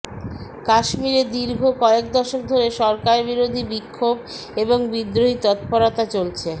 কাশ্মীরে দীর্ঘ কয়েক দশক ধরে সরকারবিরোধী বিক্ষোভ এবং বিদ্রোহী তৎপরতা চলছে